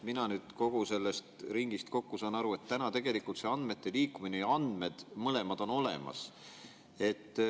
Mina saan kogu sellest ringist kokku aru, et tegelikult see andmete liikumine ja andmed on mõlemad olemas.